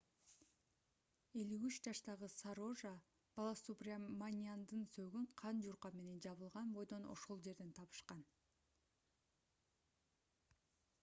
53 жаштагы сарожа баласубраманяндын сөөгүн кан жууркан менен жабылган бойдон ошол жерден табышкан